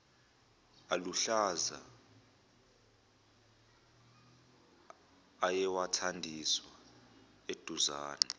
aluhlaza ayewathandiswa eduzane